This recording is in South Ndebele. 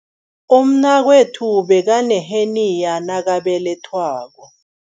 Umnakwethu bekaneheniya nakabelethwako.